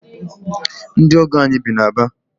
Ndị ọgọ anyị bi na Aba.